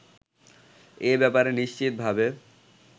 এ ব্যাপারে নিশ্চিতভাবে